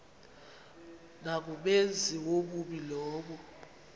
nangumenzi wobubi lowo